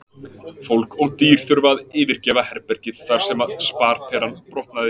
Fólk og dýr þurfa að yfirgefa herbergið þar sem sparperan brotnaði.